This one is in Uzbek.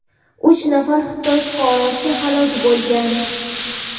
uch nafar Xitoy fuqarosi halok bo‘lgan.